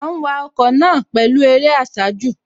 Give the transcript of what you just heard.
À ń wa ọkọ̀ náà pẹ̀lú eré àsájù